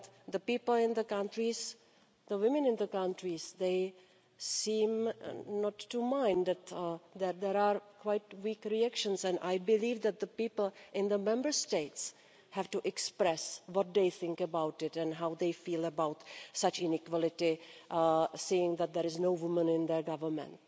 The people in these countries, the women in these countries, do not seem to mind, reactions are quite weak, and I believe that the people in the Member States have to express what they think about this and how they feel about such inequality, about seeing that there is no woman in their government.